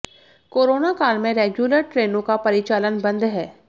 corona काल में regular ट्रेनों का परिचालन बंद है